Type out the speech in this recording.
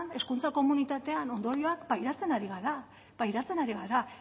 hezkuntza komunitatean ondorioak pairatzen ari gara pairatzen ari gara